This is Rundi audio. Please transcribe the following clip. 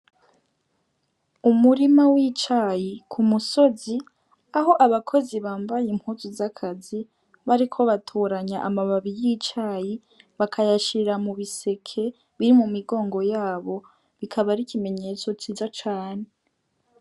Umurima w' icayi k'umusozi aho abakozi bambaye impuzu z'akazi bariko batoranya amababi y' icayi bakayashira mu biseke biri mu migongo yabo ikaba ari ikimenyetso ciza cane.